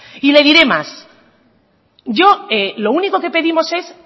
y le diré más yo lo único que pedimos es